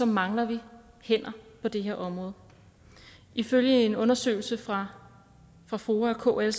mangler vi hænder på det her område ifølge en undersøgelse fra fra foa og kl